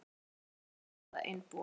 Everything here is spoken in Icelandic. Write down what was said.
Grunur beinist að einbúa